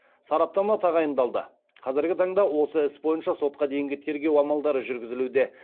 сараптама тағайындалды қазіргі таңда осы іс бойынша сотқа дейінгі тергеу амалдары жүргізілуде